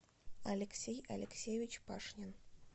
алексей алексеевич пашнин